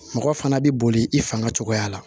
Mɔgɔ fana bɛ boli i fanga cogoya la